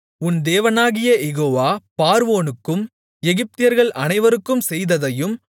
உன் தேவனாகிய யெகோவா பார்வோனுக்கும் எகிப்தியர்கள் அனைவருக்கும் செய்ததையும்